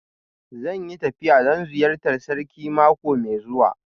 Zan yi tafiya don ziyartar Sarkin mako mai zuwa